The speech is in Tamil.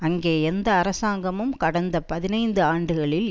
அங்கே எந்த அரசாங்கமும் கடந்த பதினைந்து ஆண்டுகளில்